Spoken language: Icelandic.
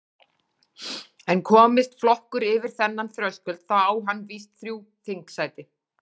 En komist flokkur yfir þennan þröskuld þá á hann vís þrjú þingsæti.